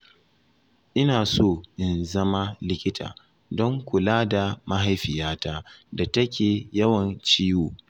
Ina so in zama likita don kula da mahaifiyata da take yawan ciwo